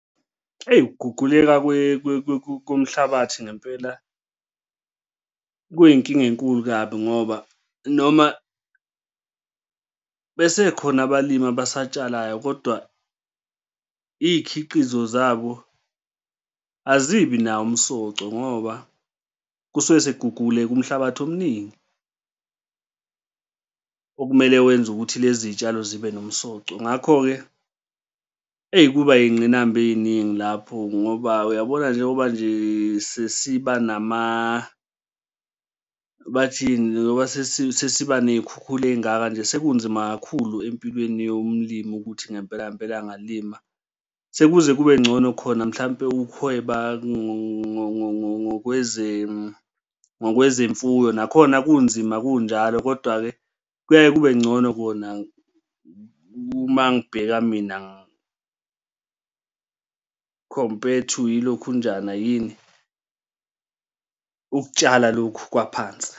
Hheyi, ukuguguleka komhlabathi ngempela kuyinkinga enkulu kabi ngoba noma besekhona abalimi abasatshalayo kodwa iy'khiqizo zabo azibi nawo umsoco, ngoba kusuke sekuguguguke umhlabathi omningi okumele wenze ukuthi lezi y'tshalo zibe nomsoco. Ngakho-ke eyi kuba yingqinamba ey'ningi lapho ngoba uyabona njengoba nje sesiba bathini? Ngoba sesiba ney'khukhula ey'ngaka nje sekunzima kakhulu empilweni yomlimi ukuthi ngempela ngempela angalima sekuze kube ngcono khona mhlampe ukuhweba ngkwezemfuyo, nakhona kunzima kunjalo, kodwa-ke kuyaye kube ngcono kona uma ngibheka mina umpethu, yilokhunjana yini? Ukutshala lokhu kwaphansi.